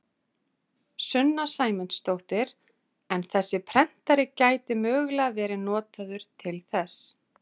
Sunna Sæmundsdóttir: En þessi prentari gæti mögulega verið notaður til þess?